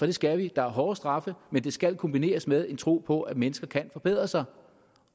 det skal vi der er hårde straffe men det skal kombineres med en tro på at mennesker kan forbedre sig